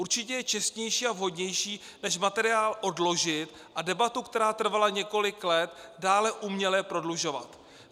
Určitě je čestnější a vhodnější než materiál odložit a debatu, která trvala několik let, dále uměle prodlužovat.